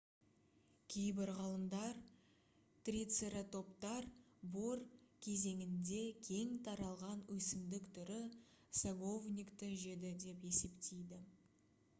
кейбір ғалымдар трицератоптар бор кезеңінде кең таралған өсімдік түрі саговникті жеді деп есептейді